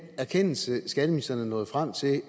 erkendelse skatteministeren er nået frem til